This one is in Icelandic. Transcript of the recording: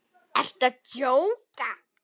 Ertu að djóka?